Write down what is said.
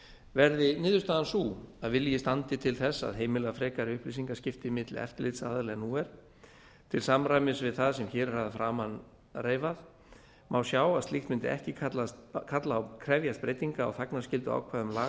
verði niðurstaðan sú að vilji standi til þess að heimila frekari upplýsingaskipti milli eftirlitsaðila en nú er til samræmis við það sem hér er að framan reifað má sjá að slíkt mundi ekki krefjast breytinga á þagnarskylduákvæðum laga